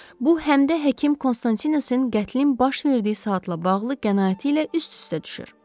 Bu həm də həkim Konstantinosin qətlin baş verdiyi saatla bağlı qənaəti ilə üst-üstə düşür.